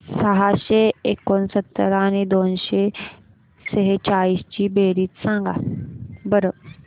सहाशे एकोणसत्तर आणि दोनशे सेहचाळीस ची बेरीज सांगा बरं